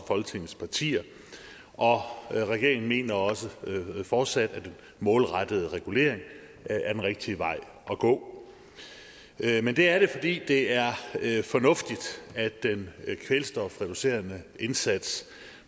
folketingets partier og regeringen mener også fortsat at den målrettede regulering er den rigtige vej at gå men det er fordi det er fornuftigt at den kvælstofreducerende indsats